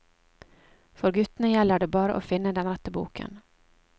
For guttene gjelder det bare å finne den rette boken.